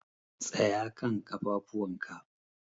Tsaya kan ƙafafuwan ka!